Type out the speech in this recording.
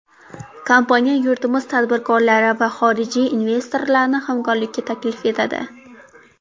Kompaniya yurtimiz tadbirkorlari va xorijiy investorlarni hamkorlikka taklif etadi.